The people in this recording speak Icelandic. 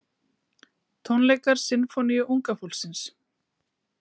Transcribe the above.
Tónleikar Sinfóníu unga fólksins